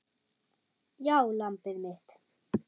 Já, lambið mitt.